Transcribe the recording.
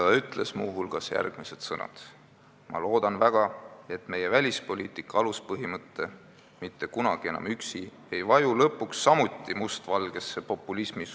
Ta ütles muu hulgas järgmised sõnad: "Ma loodan väga, et meie välispoliitika aluspõhimõte "Mitte kunagi enam üksi!" ei vaju lõpuks samuti mustvalgesse populismisohu.